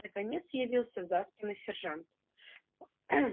наконец явился заспанный сержант